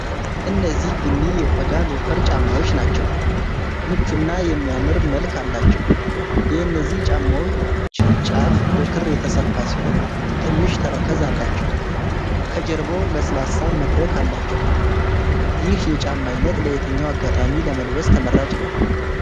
እነዚህ ቡኒ የቆዳ ሎፈር ጫማዎች ናቸው። ምቹ እና የሚያምር መልክ አላቸው። የእነዚህ ጫማዎች ጫፍ በክር የተሰፋ ሲሆን ትንሽ ተረከዝ አላቸው። ከጀርባው ለስላሳ መድረክ አላቸው። ይህ የጫማ አይነት ለየትኛው አጋጣሚ ለመልበስ ተመራጭ ነው?